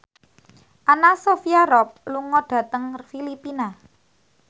Anna Sophia Robb lunga dhateng Filipina